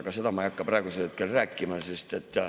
Aga seda ma ei hakka praegu rääkima.